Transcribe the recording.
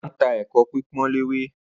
Ó ma ń ta “ ẹ̀kọ pípọ́n léwé ”